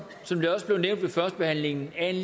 som det også blev nævnt ved førstebehandlingen at